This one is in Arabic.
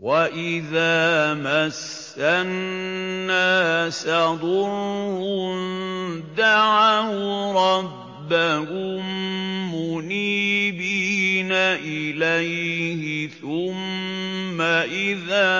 وَإِذَا مَسَّ النَّاسَ ضُرٌّ دَعَوْا رَبَّهُم مُّنِيبِينَ إِلَيْهِ ثُمَّ إِذَا